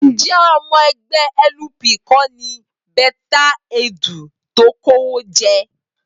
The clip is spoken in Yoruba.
Ǹjẹ́ ọmọ ẹgbẹ́ LP kọ́ ni Betta Edu tó kówó jẹ?